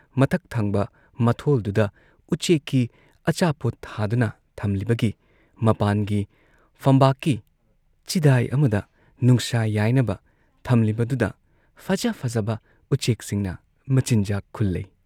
ꯃꯊꯛ ꯊꯪꯕ ꯃꯊꯣꯜꯗꯨꯗ ꯎꯆꯦꯛꯀꯤ ꯑꯆꯥꯄꯣꯠ ꯊꯥꯗꯨꯅ ꯊꯝꯂꯤꯕꯒꯤ ꯃꯄꯥꯟꯒꯤ ꯐꯝꯕꯥꯛꯀꯤ ꯆꯤꯗꯥꯏ ꯑꯃꯗ ꯅꯨꯡꯁꯥ ꯌꯥꯏꯅꯕ ꯊꯝꯂꯤꯕꯗꯨꯗ ꯐꯖ ꯐꯖꯕ ꯎꯆꯦꯛꯁꯤꯡꯅ ꯃꯆꯤꯟꯖꯥꯛ ꯈꯨꯜꯂꯩ